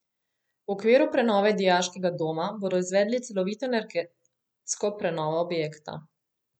V okviru prenove dijaškega doma bodo izvedli celovito energetsko prenovo objekta.